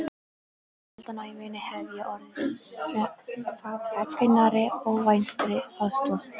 Sjaldan á ævinni hef ég orðið fegnari óvæntri aðstoð.